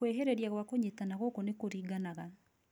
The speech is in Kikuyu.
Kwĩhĩrĩria gwa kũnyitana gũkũ nĩ kũringana